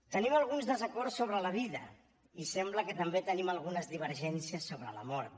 tenim alguns desacords sobre la vida i sembla que també tenim algunes divergències sobre la mort